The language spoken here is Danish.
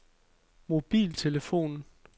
mobiltelefon